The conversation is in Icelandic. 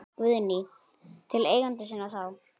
Guðný: Til eigenda sinna þá?